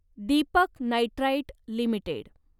Deepak nitrite limited